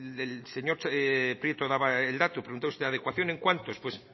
el señor prieto daba el dato preguntaba usted adecuación en cuántos pues